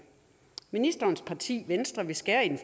ministerens parti venstre vil skære i den